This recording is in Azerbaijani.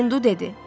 Hindu dedi: